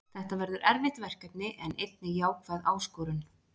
Þetta verður erfitt verkefni en einnig jákvæð áskorun.